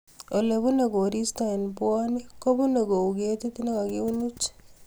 Olee punee koristo eng puanik kobunee kouu ketit nee kakiwinich